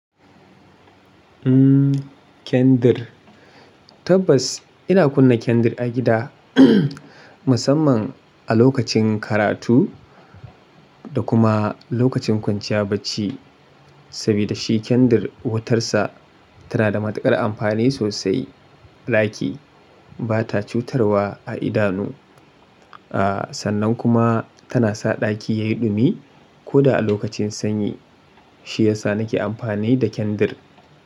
Kendir. Tabbas ina kunna kendir a gida, musamman a lokacin karatu da kuma lokacin kwanciya bacci. Sabida shi kendir wutarsa tana da matukar amfani sosai. Ɗaki ba ta cutarwa a idanu. Sannan kuma tana sa ɗaki yayi ɗumi ko da a lokacin sanyi. Shi yasa nake amfani da kendir.